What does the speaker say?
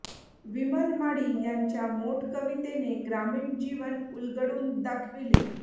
विमल माळी यांच्या मोट कवितेने ग्रामीण जीवन उलगडून दाखविले